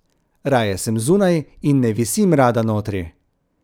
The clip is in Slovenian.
Raje sem zunaj, in ne visim rada notri.